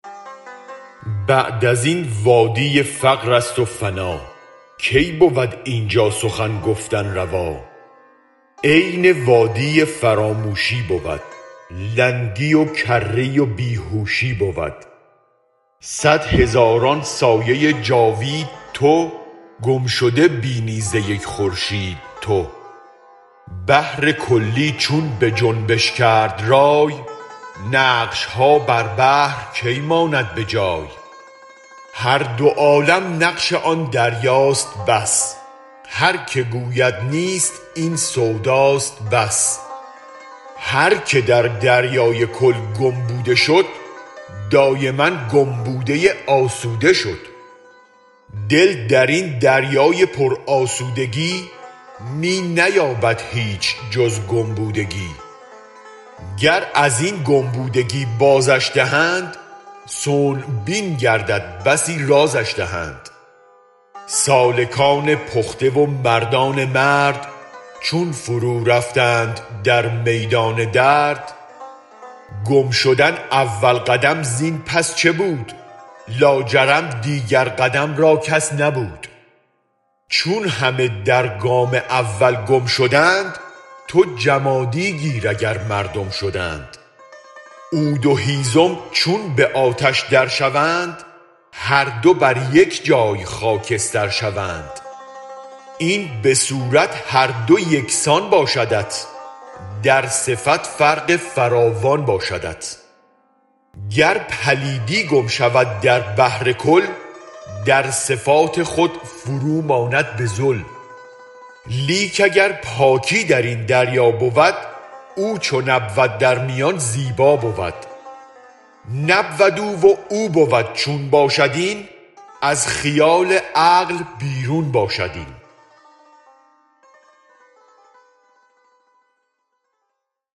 بعد ازین وادی فقرست و فنا کی بود اینجا سخن گفتن روا عین وادی فراموشی بود لنگی و کری و بیهوشی بود صد هزاران سایه جاوید تو گم شده بینی ز یک خورشید تو بحرکلی چون بجنبش کرد رای نقشها بر بحر کی ماند بجای هر دو عالم نقش آن دریاست بس هرک گوید نیست این سوداست بس هرک در دریای کل گم بوده شد دایما گم بوده آسوده شد دل درین دریای پر آسودگی می نیابد هیچ جز گم بودگی گر ازین گم بودگی بازش دهند صنع بین گردد بسی رازش دهند سالکان پخته و مردان مرد چون فرو رفتند در میدان درد گم شدن اول قدم زین پس چه بود لاجرم دیگر قدم را کس نبود چون همه در گام اول گم شدند تو جمادی گیر اگر مردم شدند عود و هیزم چون به آتش در شوند هر دو بر یک جای خاکستر شوند این به صورت هر دو یکسان باشدت در صفت فرق فراوان باشدت گر پلیدی گم شود در بحر کل در صفات خود فروماند بذل لیک اگر پاکی درین دریا بود او چون نبود در میان زیبا بود نبود او و او بود چون باشد این از خیال عقل بیرون باشد این